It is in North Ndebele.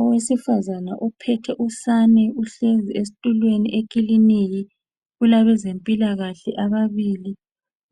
Owesifazane uphethe usane uhlezi esitulweni ekilinika. Kulabezempilakahle ababili.